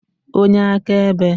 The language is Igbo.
onye akaebe